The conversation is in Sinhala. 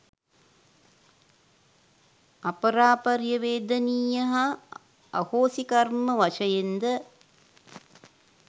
අපරාපරිය වේදනීය හා අහෝසි කර්ම වශයෙන්ද